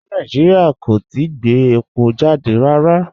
Rárá, Nàìjíríà kò tìí gbẹ̀ èpọ̀ jàdẹ̀ rárá.